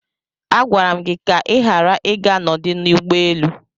Agwara m gị ka ị ghara ịga n'ọdụ ụgbọelu!